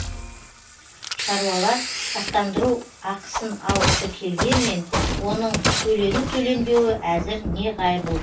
шаруалар сақтандыру ақысын алғысы келгенмен оның төлену төленбеуі әзір неғайбыл